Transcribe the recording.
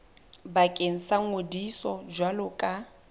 bakeng sa ngodiso jwalo ka